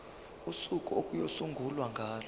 usuku okuyosungulwa ngalo